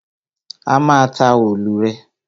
A má a ta òòlù rè.